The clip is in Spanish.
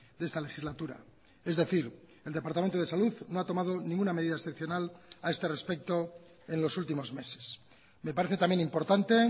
de esta legislatura es decir el departamento de salud no ha tomado ninguna medida excepcional a este respecto en los últimos meses me parece también importante